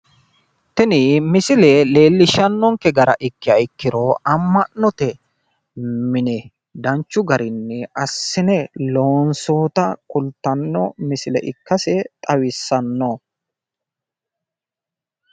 Tini misile leellishshannonke gara ikkiha ikkiro amma'note mine danchu garinni assine loonsoyita kultanno misile ikkase xawissanno.